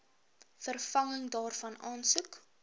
vervanging daarvan aansoek